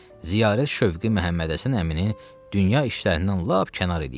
Ziyarət şövqü Məhəmmədhəsən əmini dünya işlərindən lap kənar eləyibdir.